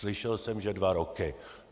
Slyšel jsem že dva roky.